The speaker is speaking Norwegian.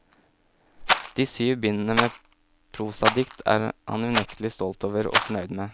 De syv bindene med prosadikt er han unektelig stolt over, og fornøyd med.